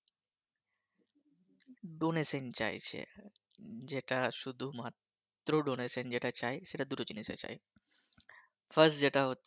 Donation চাইছে যেটা শুধুমাত্র Donation যেটা চায় সেটা দুটো জিনিস আছে First যেটা হচ্ছে